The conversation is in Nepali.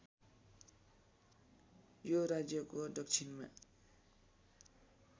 यो राज्यको दक्षिणमा